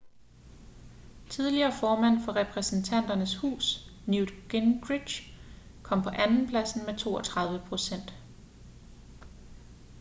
tidligere formand for repræsentanternes hus newt gingrich kom på andenpladsen med 32 procent